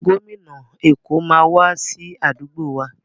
Gómìnà Èkó máa wá sí àdúgbò wa.